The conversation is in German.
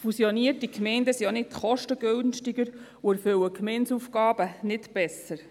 Fusionierte Gemeinden sind auch nicht kostengünstiger und erfüllen die Gemeindeaufgaben nicht besser.